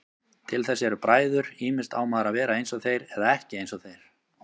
Til þess eru bræður, ýmist á maður að vera einsog þeir eða ekki einsog þeir.